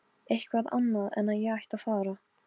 Oddleifur, lækkaðu í græjunum.